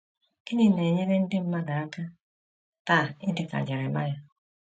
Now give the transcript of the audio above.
Gịnị na-enyere ndị mmadụ aka taa ịdị ka Jeremaya?